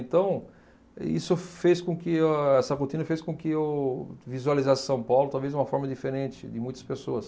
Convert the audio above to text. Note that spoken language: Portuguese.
Então, isso fez com que a essa rotina fez com que eu visualizasse São Paulo talvez de uma forma diferente, de muitas pessoas.